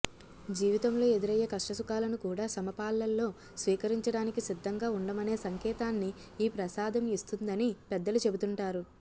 జీవితంలో ఎదురయ్యే కష్టసుఖాలను కూడా సమపాళ్లలో స్వీకరించడానికి సిద్ధంగా ఉండమనే సంకేతాన్ని ఈ ప్రసాదం ఇస్తుందని పెద్దలు చెబుతుంటారు